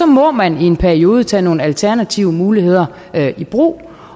må man i en periode tage nogle alternative muligheder i brug